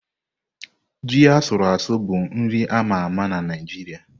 Ji asuru asu bụ nri a ma ama na Naịjirịa.